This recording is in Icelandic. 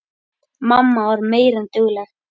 Mamma var meira en dugleg.